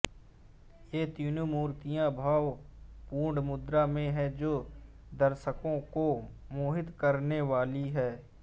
ये तीनों मूर्तियां भाव पूर्ण मुद्रा में हैं जो दर्शकों को मोहित करने वाली हैं